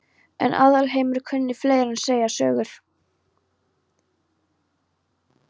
En Aðalheiður kunni fleira en segja sögur.